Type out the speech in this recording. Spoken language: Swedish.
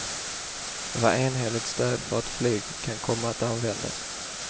Det var enhälligt stöd för att flyg kan komma att användas.